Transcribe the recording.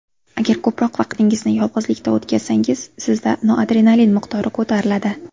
Agar ko‘proq vaqtingizni yolg‘izlikda o‘tkazsangiz, sizda noradrenalin miqdori ko‘tariladi.